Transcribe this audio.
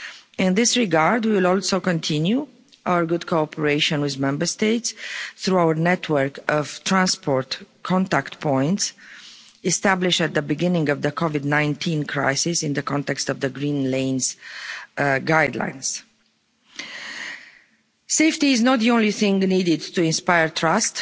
In this regard, we will also continue our good cooperation with Member States through our network of transport contact points established at the beginning of the COVID 19 crisis in the context of the Green Lanes guidelines. Safety is not the only thing needed to inspire trust.